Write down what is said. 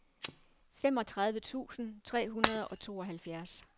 femogtredive tusind tre hundrede og tooghalvfjerds